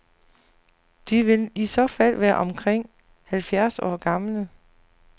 De vil i så fald være omkring halvfjerds år gamle.